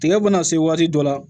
Tigɛ bɛna se waati dɔ la